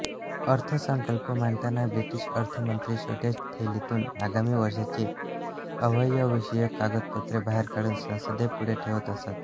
अर्थसंकल्प मांडताना ब्रिटिश अर्थमंत्री छोट्या थैलीतून आगामी वर्षांची आयव्ययविषयक कागदपत्रे बाहेर काढून संसदेपुढे ठेवत असत